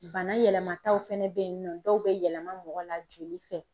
Bana yɛlɛmataw fɛnɛ bɛ yen nɔ dɔw bɛ yɛlɛma mɔgɔ la joli fɛ.